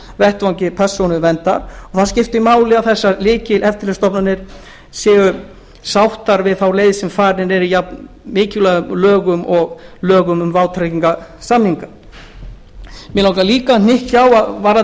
vettvangi persónuverndar og það skiptir máli að þessar lykileftirlitsstofnanir séu sáttar við þá leið sem farin er í jafnmikilvægum lögum og lögum um vátryggingarsamninga mig langar líka að hnykkja á varðandi